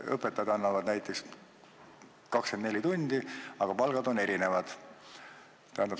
Õpetajad annavad kõik näiteks 24 tundi, aga palgad on erinevad.